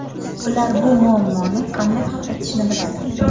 Ular bu muammoni qanday hal etishni biladi.